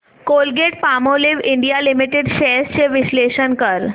Colgate Palmolive India limited shares चे विश्लेषण कर